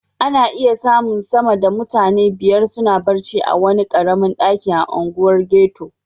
Ana iya samun sama da mutane biyar suna barci a wani karamin daki a unguwar ghetto.